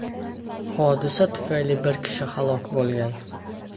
Hodisa tufayli bir kishi halok bo‘lgan.